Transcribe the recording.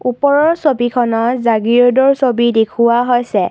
ওপৰৰ ছবিখনত জাগীৰোডৰ ছবি দেখুওৱা হৈছে।